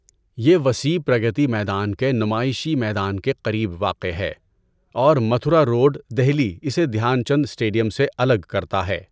یہ وسیع پرگتی میدان کے نمائشی میدان کے قریب واقع ہے اور متھرا روڈ، دہلی اسے دھیان چند اسٹیڈیم سے الگ کرتا ہے۔